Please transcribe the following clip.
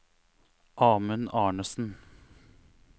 Amund Arnesen